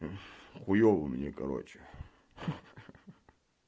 хуёво мне короче ха-ха